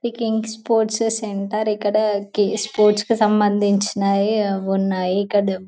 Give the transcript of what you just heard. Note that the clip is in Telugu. యిది కింగ్స్ స్పోర్ట్స్ సెంటర్ ఇక్కడ స్పోర్ట్స్ కి సంబంధించినవి ఉన్నాయి ఇక్కడ